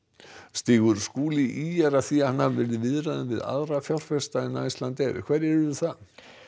stígur Skúli ýjar að því að hann hafi verið í viðræðum við aðra fjárfesta en Icelandair hverjir eru það